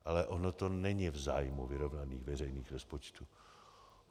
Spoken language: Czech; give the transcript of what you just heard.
Ale ono to není v zájmu vyrovnaných veřejných rozpočtů.